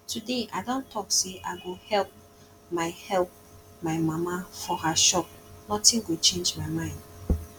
today i don talk say i go help my help my mama for her shop nothing go change my mind